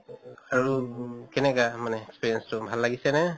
আৰু কেনেকা মানে experience তো, ভাল লাগিছে নে?